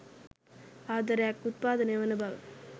ආදරයක් උත්පාදනය වන බව